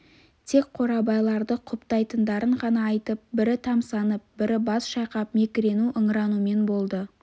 тек қорабайларды құптайтындарын ғана айтып бірі тамсанып бірі бас шайқап мекірену-ыңыранумен болды